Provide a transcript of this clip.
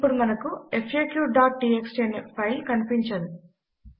ఇప్పుడు మనకు faqటీఎక్స్టీ అనే ఫైల్ కనిపించదు